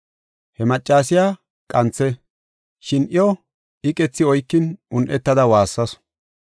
He maccasiya qanthe; shin iyo iqethi oykin un7etada waassasu.